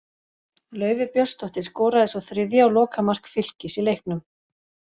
Laufey Björnsdóttir skoraði svo þriðja og lokamark Fylkis í leiknum.